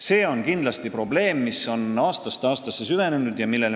See on kindlasti probleem, mis on aastast aastasse süvenenud.